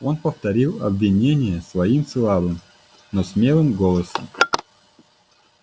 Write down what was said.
он повторил обвинения свои слабым но смелым голосом